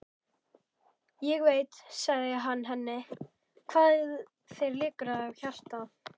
Ég veit, sagði hann henni, hvað þér liggur á hjarta